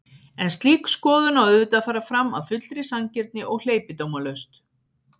En slík skoðun á auðvitað að fara fram af fullri sanngirni og hleypidómalaust.